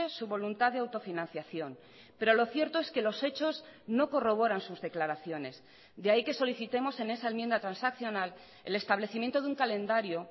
su voluntad de autofinanciación pero lo cierto es que los hechos no corroboran sus declaraciones de ahí que solicitemos en esa enmienda transaccional el establecimiento de un calendario